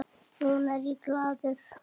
Núna er ég glaður.